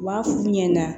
U b'a f'u ɲɛnɛ